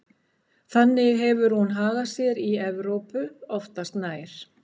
Þannig hefur hún hagað sér í Evrópu oftast nær.